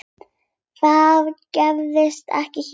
Það gerist ekki hér.